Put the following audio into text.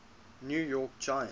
new york giants